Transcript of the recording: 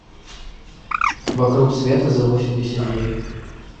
вокруг света за восемьдесят дней